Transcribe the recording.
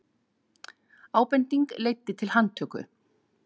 Ábending leiddi til handtöku